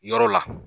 Yɔrɔ la